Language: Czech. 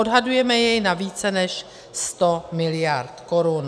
Odhadujeme jej na více než 100 mld. korun.